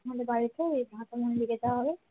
আমাদের বাড়িতে যেতে হবে